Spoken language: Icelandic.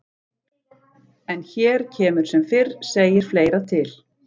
En hér kemur sem fyrr segir fleira til.